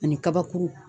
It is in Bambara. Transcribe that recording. Ani kabakuru